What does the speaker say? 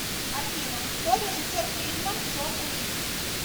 афина кто режиссер фильма джон уик